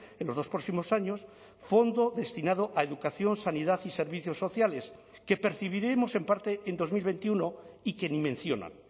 en los dos próximos años fondo destinado a educación sanidad y servicios sociales que percibiremos en parte en dos mil veintiuno y que ni mencionan